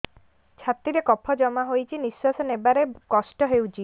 ଛାତିରେ କଫ ଜମା ହୋଇଛି ନିଶ୍ୱାସ ନେବାରେ କଷ୍ଟ ହେଉଛି